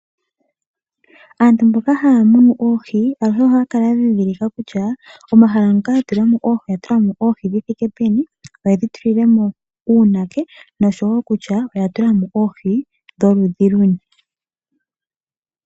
Aantu mboka haya munu oohi aluhe ohaya kala ya dhindhilika kutya moka yatula oohi oya tulamo oohi dhithike peni, oyedhi tulamo uunake noshowo kutya oya tulamo oohi dholudhi luni .